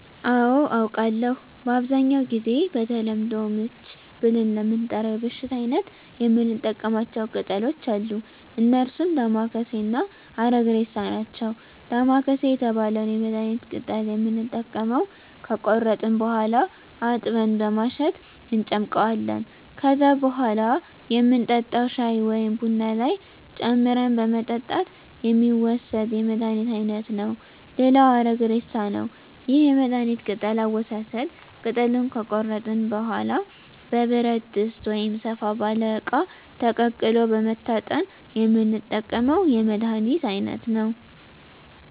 አዎ አውቃለሁ በአብዛኛው ጊዜ በተለምዶ ምች ብለን ለምንጠራው የበሽታ አይነት የምንጠቀማቸው ቅጠሎች አሉ እነርሱም ዳማከሴ እና አረግሬሳ ናቸው ዳማከሴ የተባለውን የመድሀኒት ቅጠል የምንጠቀመው ከቆረጥን በኋላ አጥበን በማሸት እንጨምቀዋለን ከዛም በኋላ የምንጠጣው ሻይ ወይም ቡና ላይ ጨምረን በመጠጣት የሚወሰድ የመድሀኒት አይነት ነው ሌላው አረግሬሳ ነው ይህም የመድሀኒት ቅጠል አወሳሰድ ቅጠሉን ከቆረጥን በኋላ በብረት ድስት ወይም ሰፋ ባለ እቃ ተቀቅሎ በመታጠን የምንጠቀመው የመድሀኒት አይነት ነው